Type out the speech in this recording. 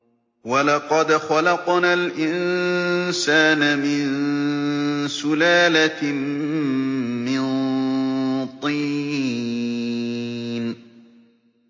وَلَقَدْ خَلَقْنَا الْإِنسَانَ مِن سُلَالَةٍ مِّن طِينٍ